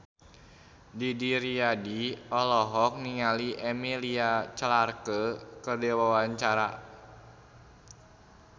Didi Riyadi olohok ningali Emilia Clarke keur diwawancara